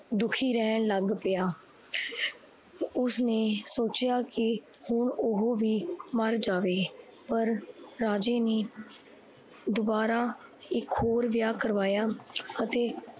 ਦੁਖੀ ਰਹਣ ਲੱਗ ਪਿਆ। ਉਸਨੇ ਸੋਚਿਆ ਕੀ ਹੁਣ ਓਹੋ ਵੀ ਮਰ ਜਾਵੇ ਪਰ ਰਾਜੇ ਨੇ ਦੋਬਾਰਾ ਇੱਕ ਹੋਰ ਵਿਆਹ ਕਰਵਾਇਆ ਅਤੇ